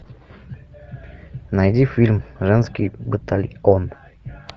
найди фильм женский батальон